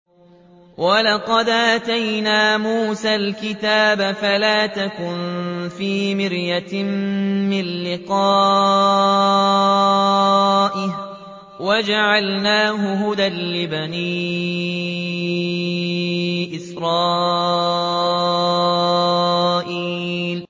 وَلَقَدْ آتَيْنَا مُوسَى الْكِتَابَ فَلَا تَكُن فِي مِرْيَةٍ مِّن لِّقَائِهِ ۖ وَجَعَلْنَاهُ هُدًى لِّبَنِي إِسْرَائِيلَ